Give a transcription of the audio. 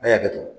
Ne y'a kɛ dun